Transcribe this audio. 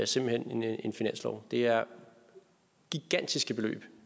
simpelt hen en finanslov det er gigantiske beløb